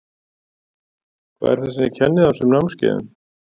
Hvað er það sem þið kennið á þessum námskeiðum?